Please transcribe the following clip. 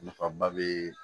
Nafaba bɛ